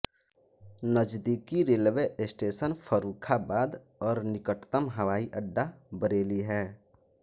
नजदीकी railway station Farrukhabad और निकटतम हवाई अड्डा बरेली है